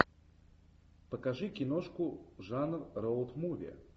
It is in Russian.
покажи киношку жанр роут муви